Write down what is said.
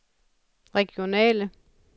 regionale